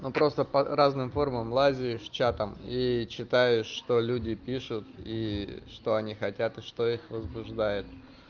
ну просто по разным формам лазиешь чатам и читаешь что люди пишут и что они хотят и что их возбуждает